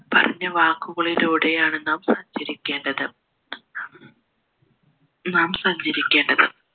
പറഞ്ഞ വാക്കുകളിലൂടെയാണ് നാം സഞ്ചരിക്കേണ്ടത് നാം സഞ്ചരിക്കേണ്ടത്